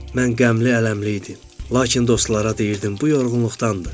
Mən qəmli ələmli idim, lakin dostlara deyirdim bu yorğunluqdandır.